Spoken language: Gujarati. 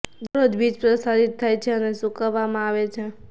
દરરોજ બીજ પ્રસારિત થાય છે અને સૂકવવામાં આવે છે